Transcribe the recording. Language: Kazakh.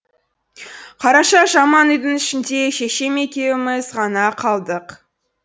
қараша жаман үйдің ішінде шешем екеуіміз ғана қалдық